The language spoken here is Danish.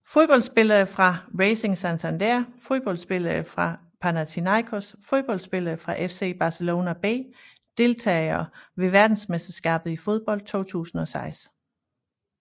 Fodboldspillere fra Racing Santander Fodboldspillere fra Panathinaikos Fodboldspillere fra FC Barcelona B Deltagere ved verdensmesterskabet i fodbold 2006